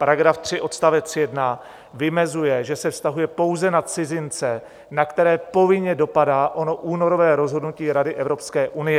Paragraf 3 odst. 1 vymezuje, že se vztahuje pouze na cizince, na které povinně dopadá ono únorové rozhodnutí Rady Evropské unie.